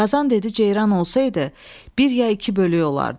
Qazan dedi: Ceyran olsaydı, bir ya iki bölük olardı.